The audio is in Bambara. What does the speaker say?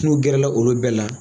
No gɛrɛ la olu bɛɛ la.